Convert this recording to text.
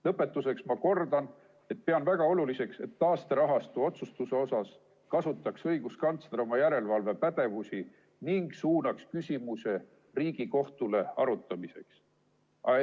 Lõpetuseks ma kordan, et pean väga oluliseks, et taasterahastu otsustuse osas kasutaks õiguskantsler oma järelevalvepädevust ning suunaks küsimuse Riigikohtule arutamiseks.